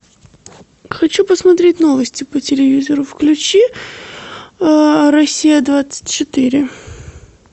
хочу посмотреть новости по телевизору включи россия двадцать четыре